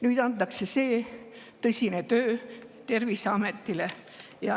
Nüüd antakse see tõsine töö Terviseametile.